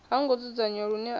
ha ngo dzudzanywa lune a